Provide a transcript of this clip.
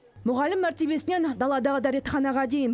мұғалім мәртебесінен даладағы дәретханаға дейін